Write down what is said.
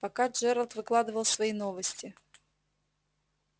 пока джералд выкладывал свои новости